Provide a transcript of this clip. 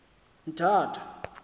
mthatha